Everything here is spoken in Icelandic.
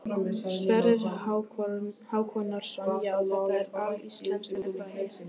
Sverrir Hákonarson: Já, þetta er alíslenskt er það ekki?